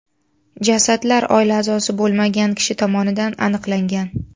Jasadlar oila a’zosi bo‘lmagan kishi tomonidan aniqlangan.